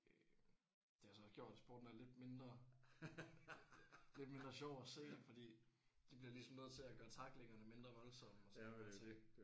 Øh det har så også gjort at sporten er lidt mindre lidt mindre sjov at se fordi de bliver ligesom nødt til at gøre tacklingerne mindre voldsomme og sådan nogle ting